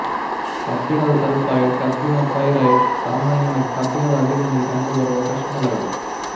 ಕಬ್ಬಿಣದ ಸಲ್ಫೈಡ್ ಕಬ್ಬಿಣ ಪೈರೈಟ್ ಸಾಮಾನ್ಯವಾಗಿ ಕಬ್ಬಿಣದ ಅದಿರನಲ್ಲಿ ಕಂಡುಬರುವ ಕಶ್ಮಲಗಳು